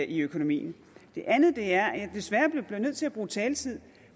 i økonomien det andet er at jeg desværre bliver nødt til at bruge taletid